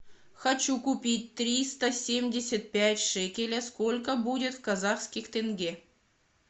хочу купить триста семьдесят пять шекеля сколько будет в казахских тенге